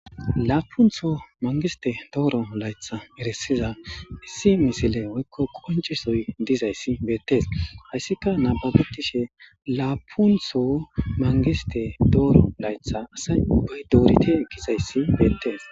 Laapuntho mangiste dooro laytha irisiza issi misile woykko qoncisoy dizayssi beettes hayssika nababetishe laapuntho mangiste dooro laytha asay ubbay doorite gizayssi beettes.